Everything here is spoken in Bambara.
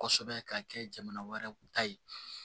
Kosɛbɛ ka kɛ jamana wɛrɛ kunta ye